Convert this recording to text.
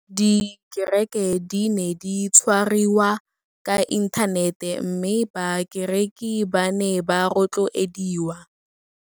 Dikereke di ne di tshwariwa ka inthanete mme bakereki ba ne ba rotloediwa.